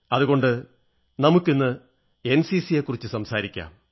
അതുകൊണ്ട് നമുക്കിന്ന് എൻസിസിയെക്കുറിച്ചു സംസാരിക്കാം